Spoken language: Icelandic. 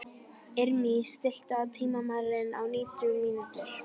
Irmý, stilltu tímamælinn á nítján mínútur.